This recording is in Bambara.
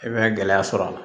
I bɛ gɛlɛya sɔrɔ a la